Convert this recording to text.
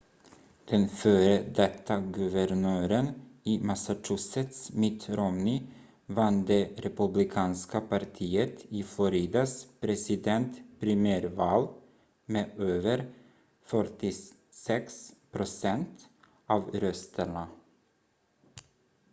den före detta guvernören i massachusetts mitt romney vann det republikanska partiet i floridas presidentprimärval med över 46 procent av rösterna